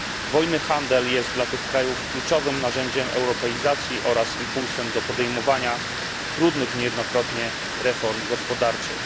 Wolny handel jest dla tych krajów kluczowym narzędziem europeizacji oraz impulsem do podejmowania trudnych niejednokrotnie reform gospodarczych.